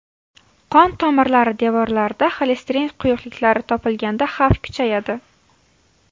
Qon tomirlari devorlarida xolesterin quyuqliklari topilganda xavf kuchayadi.